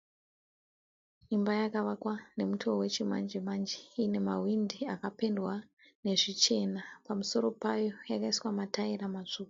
Imba yakavakwa nemutoo we chimanje manje. Ine mahwindo akapendwa nezvichena. Pamusoro payo yakaiswa mataira matsvuku.